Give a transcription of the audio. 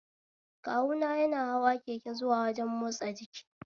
Kanuwa yana hawa keke zuwa wajen motsa jiki